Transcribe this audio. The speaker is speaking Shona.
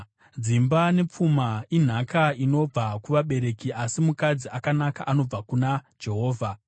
Dzimba nepfuma inhaka inobva kuvabereki, asi mukadzi akanaka anobva kuna Jehovha.